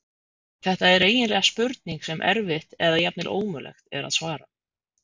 Þetta er eiginlega spurning sem erfitt eða jafnvel ómögulegt er að svara.